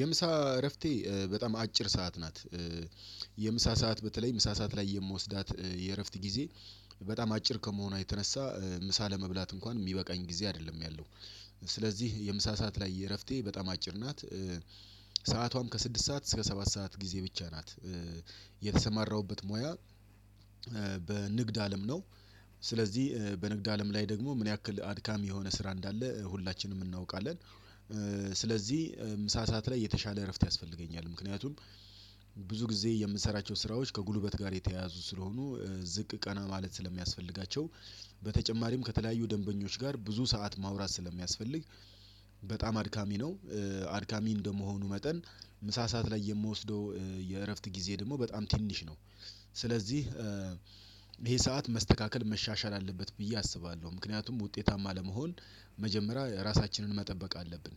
የምሳ እረፍቴ በጣም አጭር ሰዓት ናት። የምሳ ሰዓት በተለይ ምሳ ሰዓት ላይ የምወስዳት የእረፍት ጊዜ በጣም አጭር ከመሆኖ የተነሳ ምሳ ለመብላት እንኳን የሚበቃኝ ጊዜ አይደለም ያለው። ስለዚህ የምሳ ሰዓት ላይ እረፍቴ በጣም አጭር ናት። ሰዓቷም ከስድስት ሰዓት እስከ ሰባት ሰዓት ጊዜ ብቻ ናት። የተሰማራሁበት ሙያ በንግድ አለም ነው። ስለዚህ በንግድ አለም ላይ ደግሞ ምን ያክል አድካሚ የሆነ ስራ እንዳለ ሁላችንም እናውቃለን። ስለዚህ ምሳ ሰዓት ላይ የተሻለ እረፍት ያስፈልገኛል ምክንያቱም። ብዙ ጊዜ የምሰራቸው ስራዎች ከጉልበት ጋር የተያያዙ ስለሆኑ ዝቅ ቀና ማለት ስለሚያስፈልጋቸው። በተጨማሪም ከተለያዩ ደንበኞች ጋር ብዙ ሰዓት ማውራት ስለሚያስፈልግ በጣም አድካሚ ነው። አድካሚ እንደመሆኑ መጠን ምሳ ሰዓት ላይ የምወስደው የእረፍት ጊዜ ደግሞ በጣም ትንሽ ነው። ስለዚህ ይሄ ሰዓት መስተካከል መሻሻል አለበት ብዬ አስባለሁ ምክንያቱም ውጤታማ ለመሆን። መጀመሪያ ራሳችንን መጠበቅ አለብን።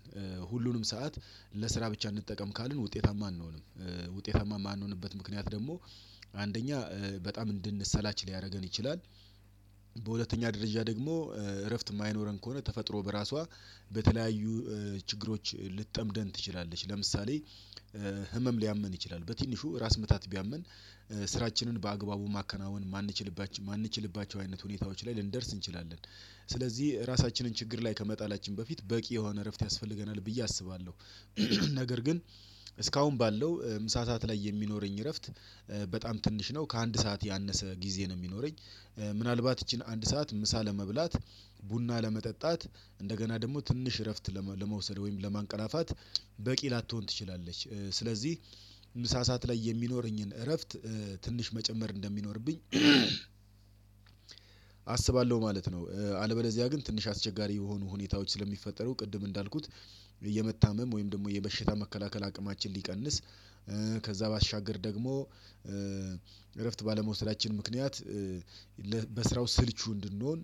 ሁሉንም ሰዓት ለስራ ብቻ እንጠቀም ካልን ውጤታማ አንሆንም ውጤታማ የማንሆንበት ምክንያት ደግሞ አንደኛ በጣም እንድንሰላች ሊያደርገን ይችላል። በሁለተኛ ደረጃ ደግሞ እረፍት የማይኖረን ከሆነ ተፈጥሮ በራሷ በተለያዩ ችግሮች ልትጠምደን ትችላለች። ለምሳሌ ህመም ሊያመን ይችላል በትንሹ ራስ ምታት ቢያመን። ስራችንን በአግባቡ ማከናወን የማንችልባቸው አይነት ሁኔታዎች ላይ ልንደርስ እንችላለን። ስለዚህ ራሳችንን ችግር ላይ ከመጣላችን በፊት በቂ የሆነ እረፍት ያስፈልገናል ብዬ አስባለሁ። ነገር ግን እስካሁን ባለው ምሳ ሰዓት ላይ የሚኖረኝ እረፍት በጣም ትንሽ ነው ከአንድ ሰዓት ያነሰ ጊዜ ነው የሚኖረኝ። ምናልባት ይቺን አንድ ሰዓት ምሳ ለመብላት ቡና ለመጠጣት እንደገና ደግሞ ትንሽ እረፍት ለመውሰድ ወይም ለማንቀራፋት በቂ ላቶን ትችላለች። ስለዚህ ምሳ ሰዓት ላይ የሚኖረኝን እረፍት ትንሽ መጨመር እንደሚኖርብኝ አስባለሁ ማለት ነው። አለበዚያ ግን ትንሽ አስቸጋሪ የሆኑ ሁኔታዎች ስለሚፈጠሩ ቅድም እንዳልኩት የመታመም ወይም ደግሞ የበሸታ መከላከል አቅማችን ሊቀንስ። ከዛ ባሻገር ደግሞ እረፍት ባለመውሰዳችን ምክንያት በስራው ስልቹ እንድንሆን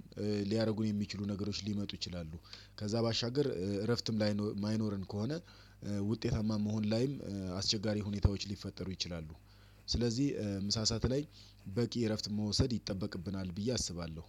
ሊያደርጉን የሚችሉ ነገሮች ሊመጡ ይችላሉ። ከዛ ባሻገር እረፍትም ላይ የማይኖረን ከሆነ ውጤታማ መሆን ላይም አስቸጋሪ ሁኔታዎች ሊፈጠሩ ይችላሉ። ስለዚህ ምሳ ሰዓት ላይ በቂ እረፍት መውሰድ ይጠበቅብናል ብዬ አስባለሁ።